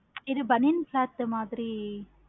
இது பனியன் cloth மாதிரி